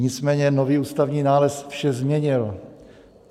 Nicméně nový ústavní nález vše změnil.